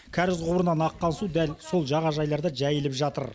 кәріз құбырынан аққан су дәл сол жағажайларда жайылып жатыр